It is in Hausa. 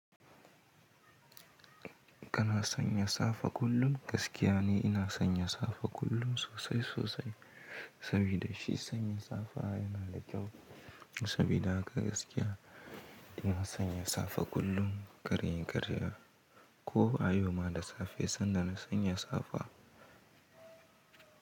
Kana sanya safa kullum? Gaskiya ni ina sanya safa kullum sosai sosai, sabida shi sanya safa yana da kyau. Sabida haka gaskiya ina sanya safa kullum kar inyi karye. Ko a yau ma da safe saida na sanya safa.